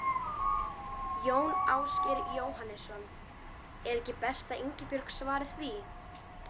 Jón Ásgeir Jóhannesson: Er ekki best að Ingibjörg svari því?